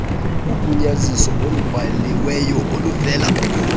ugunyaziso olubhaliweyo oluvela